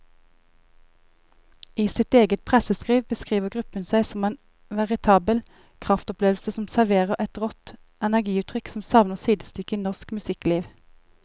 I sitt eget presseskriv beskriver gruppen seg som en veritabel kraftopplevelse som serverer et rått energiutrykk som savner sidestykke i norsk musikkliv.